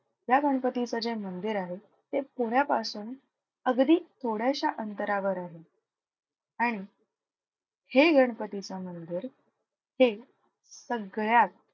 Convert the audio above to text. या गणपतीचं जे मंदिर आहे ते पुण्यापासून अगदी थोड्याश्या अंतरावर आहे. आणि हे गणपतीचं मंदिर हे सगळ्यात,